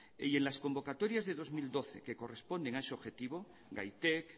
y en las convocatorias de dos mil doce que corresponden a ese objetivo gaitek